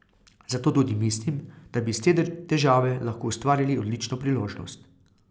Zato tudi mislim, da bi iz te težave lahko ustvarili odlično priložnost.